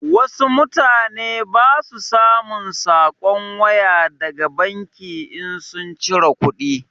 Wasu mutane ba su samun saƙon waya daga banki in sun cire kuɗi.